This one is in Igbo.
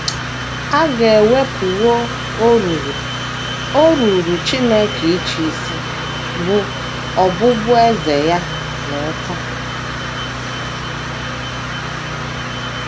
A ga - ewepụwo oruru o ruuru Chineke ịchị isi, bụ́ ọbụbụeze ya, n’ụta.